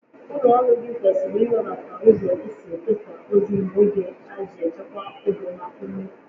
Ụlọ ọrụ gị kwesịrị iwebata ụzọ e si ekesa ozi n'oge a iji chekwaa oge na ume